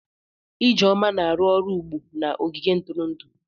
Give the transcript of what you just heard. Ijeoma na-arụ ọrụ ugbu a na ogige ntụrụndụ.